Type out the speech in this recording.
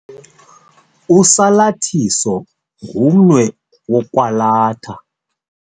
Usalathiso ngumnwe wokwalatha.